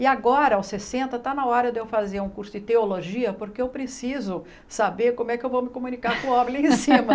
E agora aos sessenta está na hora de eu fazer um curso de teologia porque eu preciso saber como é que eu vou me comunicar com o homem lá em cima.